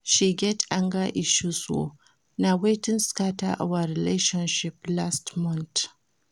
She get anger issues o, na wetin scatter our relationship last month.